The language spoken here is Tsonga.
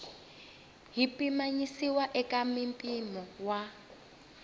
yi pimanisiwa eka mimpimo wa